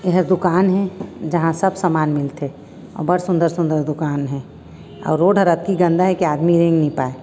ए हा दुकान हे जहाँ सब सामान मिलथे बढ़ सुन्दर-सुन्दर दुकान हे अउ रोड हर अतकि गन्दा हे कि आदमी रेंग नी पाए--